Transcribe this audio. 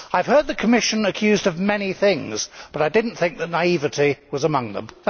I have heard the Commission accused of many things but I did not think that naivety was among them.